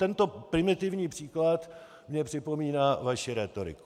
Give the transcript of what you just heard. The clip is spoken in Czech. Tento primitivní příklad mi připomíná vaši rétoriku.